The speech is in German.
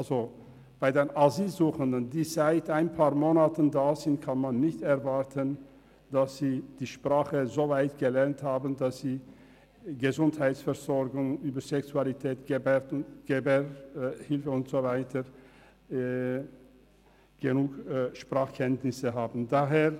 Von den Asylsuchenden, die seit ein paar Monaten hier sind, kann man nicht erwarten, dass sie die Sprache soweit gelernt haben, dass sie über die Gesundheitsversorgung, die Sexualität, die Geburtshilfe und so weiter in ausreichendem Mass sprechen können.